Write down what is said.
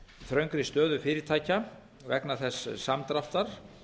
þröngri stöðu fyrirtækja vegna þess mikla samdráttar